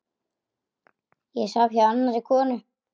Ég svaf hjá annarri konu.